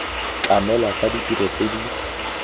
tlamelwa fa ditiro tse di